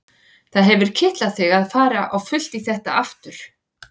Það hefur kitlað þig að fara á fullt í þetta aftur?